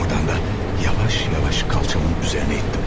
Ordan da yavaş-yavaş qalçamın üzərinə ittim.